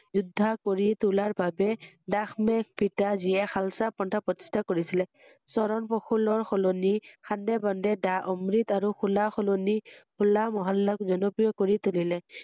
যোদ্বা কৰি তোলাৰ বাবে দাস মে পিতা যিয়ে শালচা পন্থা প্ৰতিস্ঠা কৰিছিলে ৷ চৰণ পশুলৰ সলনি সান্দে বন্দে দা আমৃত আৰু হোলাৰ সলনি হোলা মহল্লাক জনপ্ৰিয় কৰি তুলিলে৷